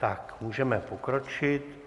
Tak můžeme pokročit.